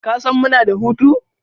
Kasan muna da hutu?